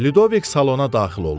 Lidovik salona daxil oldu.